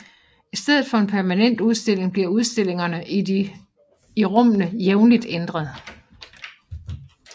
I stedet for en permanent udstilling bliver udstillingerne i de rummene jævnligt ændret